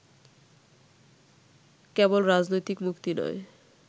কেবল রাজনৈতিক মুক্তি নয়